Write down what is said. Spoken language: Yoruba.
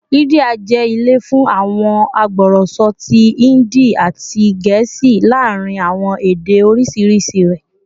India jẹ ile fun awọn agbọrọsọ ti Hindi ati Gẹẹsi laarin awọn ede oriṣiriṣi rẹ